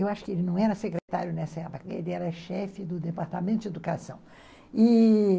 Eu acho que ele não era secretário nessa época, ele era chefe do Departamento de Educação, e...